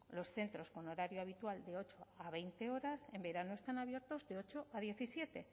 los centros con horario habitual de ocho a veinte horas en verano están abiertos de ocho a diecisiete